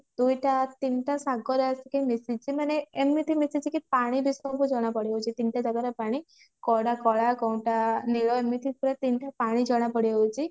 ଦୁଇଟା ତିନିଟା ସାଗର ଆସିକି ମିଶିଛି ମାନେ ଏମିତି ମିଶିଛି କି ପାଣି ବିଷୟରେ ବି ଜଣାପଡି ଯାଉଛି ତିନିଟା ଜାଗାର ପାଣି କୋଉଟା କଳା କୋଉଟା ନୀଳ ଏମିତି ପୁରା ତିନିଟା ପାଣି ଜଣା ପଡି ଯାଉଛି